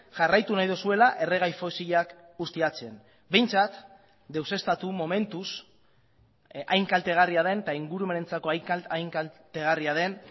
jarraitu nahi duzuela erregai fosilak ustiatzen behintzat deuseztatu momentuz hain kaltegarria den eta ingurumenentzako hain kaltegarria den